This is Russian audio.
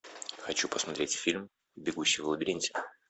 хочу посмотреть фильм бегущий в лабиринте